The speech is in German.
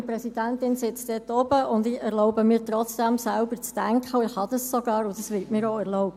Meine Präsidentin sitzt dort oben, und ich erlaube mir trotzdem, selber zu denken, kann dies sogar tun und es wird mir auch erlaubt.